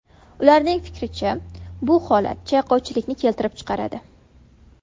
Ularning fikricha, bu holat chayqovchilikni keltirib chiqaradi.